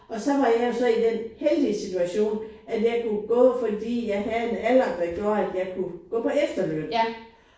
Og så var jeg jo så i den heldige situation at jeg kunne gå fordi jeg havde en alder der gjorde at jeg kunne gå på efterløn